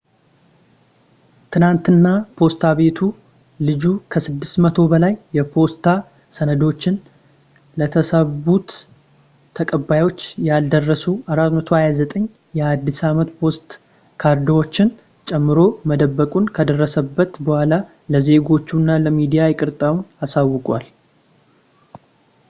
ትላንትና ፖስታ ቤቱ ልጁ ከ600 በላይ የፖስታ ሰነዶችን ለታሰቡት ተቀባዮች ያልደረሱ 429 የአዲስ አመት ፖስት ካርዶችን ጨምሮ መደበቁን ከደረሰበት ቡኃላ ለዜጎቹ እና ለሚዲያ ይቅርታውን አሳውቋል